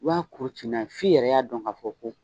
I ba kuru ci n'a ye, f'i yɛrɛ y'a dɔn ka fɔ ko